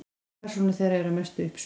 Persónur þeirra eru að mestu uppspuni.